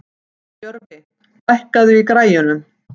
Jörfi, lækkaðu í græjunum.